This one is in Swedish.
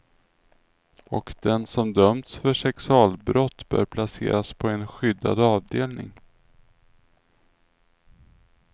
Och den som dömts för sexualbrott bör placeras på en skyddad avdelning.